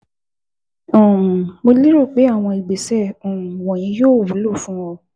um Mo lérò pé àwọn ìgbésẹ̀ um wọ̀nyí yóò wúlò fún ọ